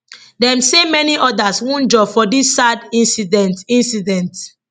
dem say many odas wunjure for dis sad incident incident